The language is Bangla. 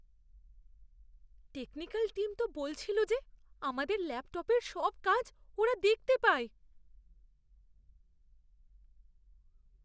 টেকনিক্যাল টীম তো বলছিল যে আমাদের ল্যাপটপের সব কাজ ওরা দেখতে পায়।